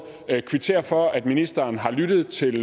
kvittere for at ministeren har lyttet til